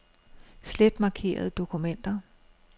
Slet markerede dokumenter.